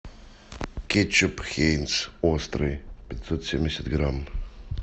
кетчуп хайнц острый пятьсот семьдесят грамм